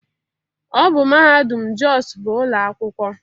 Ọ bụ mahadum Jos bu ụlọ akwụkwọ